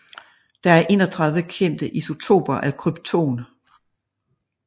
Der er 31 kendte isotoper af krypton